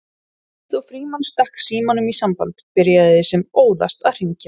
Um leið og Frímann stakk símanum í samband byrjaði sem óðast að hringja